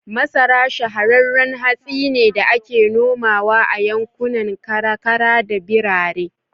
Masara shahararran hatsi ne da ake nomawa a yankunan karkara da birane.